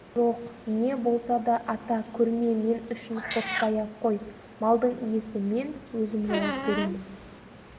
жоқ не болса да ата көрме мен үшін қорықпай-ақ қой малдың иесі мен өзім жауап беремін